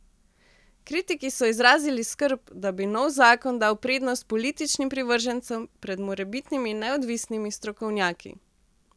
Kritiki so izrazili skrb, da bi nov zakon dal prednost političnim privržencem pred morebitnimi neodvisnimi strokovnjaki.